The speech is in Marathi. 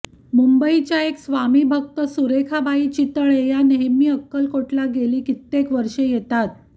मुंबईच्या एक स्वामिभक्त सुरेखाबाई चितळे या नेहमी अक्कलकोटला गेली कित्येक वर्षे येतात